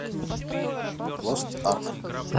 лост арк